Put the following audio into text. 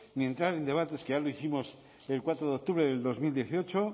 ni entrar en debates que ya lo hicimos el cuatro de octubre de dos mil dieciocho